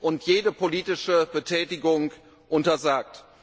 und jede politische Betätigung untersagt.